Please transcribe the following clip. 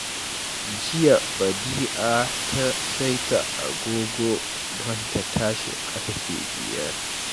Jiya Badi'a ta saita agogo don ta tashi ƙarfe biyar